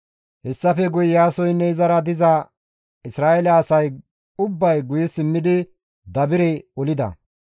Hessafe guye Iyaasoynne izara diza Isra7eele asay ubbay guye simmidi Dabire olida.